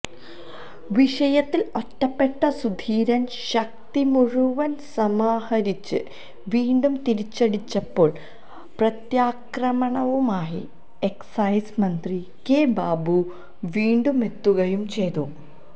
വിഷയത്തിൽ ഒറ്റപ്പെട്ട സുധീരൻ ശക്തിമുഴുവൻ സമാഹരിച്ച് വീണ്ടും തിരിച്ചടിച്ചപ്പോൾ പ്രത്യാക്രമണവുമായി എക്സൈസ് മന്ത്രി കെ ബാബു വീണ്ടുമെത്തുകയും ചെയ്തു